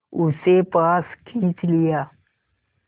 उसे पास खींच लिया